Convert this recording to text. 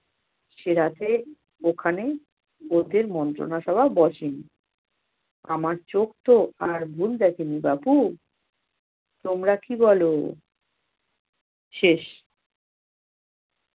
সে রাতে ওখানে লোকের মন্ত্রণা সভা বসে নি। আমার চোখ তো আর ভুল দেখে নি বাপু তোমরা কি বল? শেষ।